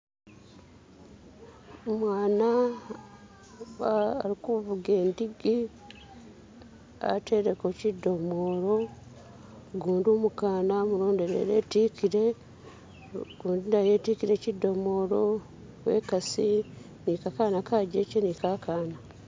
Umwana alikuvuga indigi ateleko shidomolo gundi umukana amulondelele itikile gundi naye itikile shidomolo uwenkasi nikakana kajeke ni kakana.